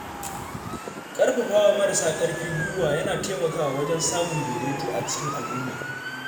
Ƙarfafawa marasa ƙarfi guiwa yana taimakawa wajen samun daidaito a cikin al’umma.